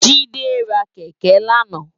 Jide rá kèkè làná